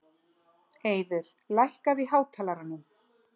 Eiður, lækkaðu í hátalaranum.